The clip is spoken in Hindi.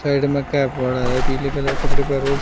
साइड में पड़ा है पीले कलर कपड़े --